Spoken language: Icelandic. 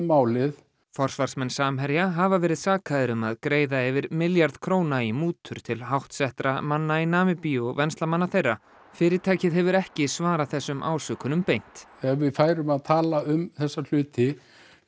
málið forsvarsmenn Samherja hafa verið sakaðir um að greiða yfir milljarð króna í mútur til háttsettra manna í Namibíu og venslamanna þeirra fyrirtækið hefur ekki svarað þessum ásökunum beint ef við færum að tala um þessa hluti